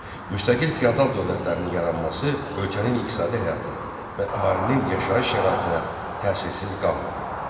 Müstəqil feodal dövlətlərinin yaranması ölkənin iqtisadi həyatına və əhalinin yaşayış şəraitinə təsirsiz qalmadı.